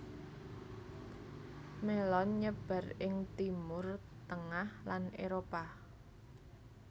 Mélon nyebar ing Timur tengah lan Éropah